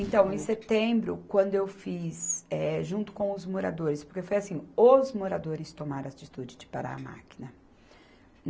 Então, em setembro, quando eu fiz, eh, junto com os moradores, porque foi assim, os moradores tomaram a atitude de parar a máquina.